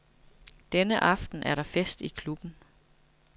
Denne aften er der fest i klubben.